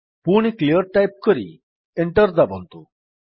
ପୁଣି clear type କରି enter ଦାବନ୍ତୁ